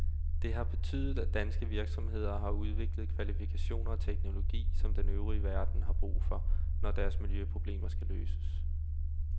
Det har betydet, at danske virksomheder har udviklet kvalifikationer og teknologi, som den øvrige verden har brug for, når deres miljøproblemer skal løses.